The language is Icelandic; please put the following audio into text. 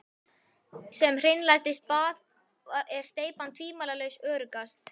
Sem hreinlætisbað er steypibað tvímælalaust öruggast.